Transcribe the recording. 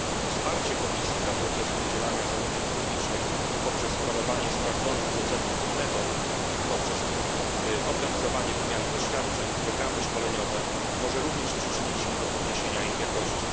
Wsparcie Komisji dla procesu udzielania zamówień publicznych poprzez promowanie sprawdzonych procedur i metod, poprzez organizowanie wymiany doświadczeń, programy szkoleniowe może również przyczynić się do podniesienia ich jakości.